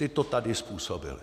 Ti to tady způsobili.